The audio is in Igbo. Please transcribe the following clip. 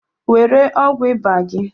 Were ọgwụ iba gị!